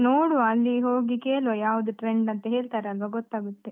ನೋಡುವ, ಅಲ್ಲಿ ಹೋಗಿ ಕೇಳುವ, ಯಾವ್ದು trend ಅಂತ ಹೇಳ್ತಾರೆ ಅಲ್ವಾ ಗೊತ್ತಾಗುತ್ತೆ.